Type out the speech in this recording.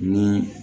Ni